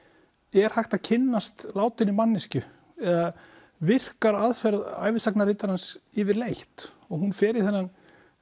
er hægt að kynnast látinni manneskju eða virkar aðferð yfirleitt og hún fer í þennan